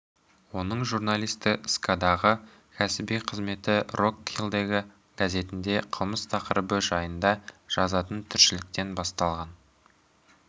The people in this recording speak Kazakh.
оның журналисти скадағы кәсіби қызметі рок хиллдегі газетінде қылмыс тақырыбы жайында жазатын тілшіліктен басталған